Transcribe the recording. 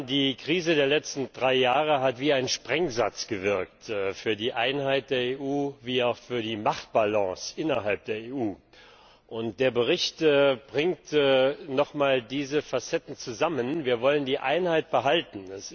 Die Krise der letzten drei Jahre hat wie ein Sprengsatz gewirkt für die Einheit der EU wie auch für die Machtbalance innerhalb der EU. Der Bericht bringt noch mal diese Facetten zusammen Wir wollen die Einheit behalten.